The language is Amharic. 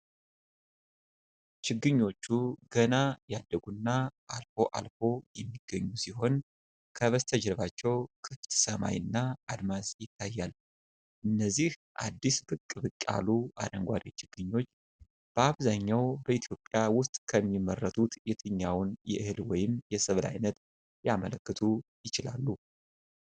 ችግኞቹ ገና ያደጉና አልፎ አልፎ የሚገኙ ሲሆን፣ ከበስተጀርባው ክፍት ሰማይ እና አድማስ ይታያል። እነዚህ አዲስ ብቅ ብቅ ያሉ አረንጓዴ ችግኞች፣ በአብዛኛው በኢትዮጵያ ውስጥ ከሚመረቱት የትኛውን የእህል ወይም የሰብል ዓይነት ሊያመለክቱ ይችላሉ?